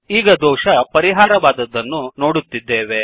ಈಗ ದೋಷ ಪರಿಹಾರವಾದದ್ದನ್ನು ನೋಡುತ್ತಿದ್ದೇವೆ